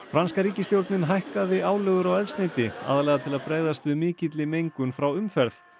franska ríkisstjórnin hækkaði álögur á eldsneyti aðallega til að bregðast við mikilli mengun frá umferð